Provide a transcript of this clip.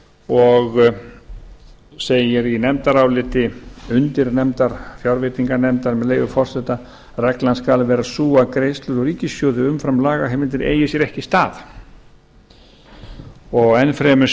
og segir í nefndaráliti undirnefndar fjárveitinganefndar með leyfi forseta reglan skal vera sú að greiðslur úr ríkissjóði umfram lagaheimildir eigi sér ekki stað enn fremur